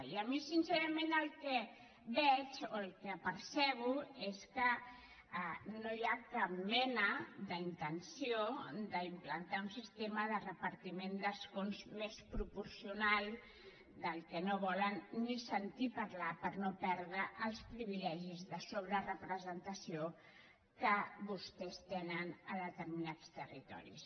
i jo sincerament el que veig o el que percebo és que no hi ha cap mena d’intenció d’implantar un sistema de repartiment d’escons més proporcional del qual no volen ni sentir parlar per no perdre els privilegis de sobrerepresentació que vostès tenen a determinats territoris